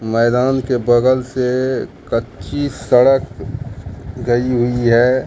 मैदान के बगल से कच्ची सड़क गई हुई है।